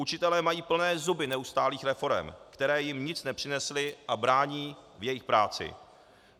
Učitelé mají plné zuby neustálých reforem, které jim nic nepřinesly a brání v jejich práci.